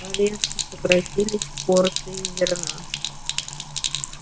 резко сократились порции зерна